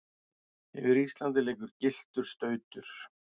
yfir Íslandi liggur gylltur stautur.